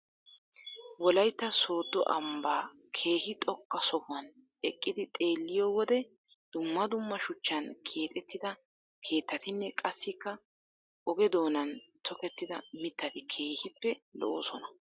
Wolaytta soodo ambbaa keehi xoqqa sohohuwan eqqidi xeeliyoo wode dumma dumma shuchchan keexettida keettatinne qassikka oge doonan tokettida mittati keehippe lo"oosona.